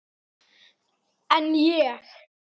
En ég.